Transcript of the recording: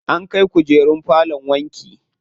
An kai kukerun falon wanki.